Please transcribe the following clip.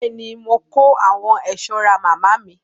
Bẹ́ẹ̀ ni, mo kó àwọn ẹ̀ṣọ́ ra màmá mi.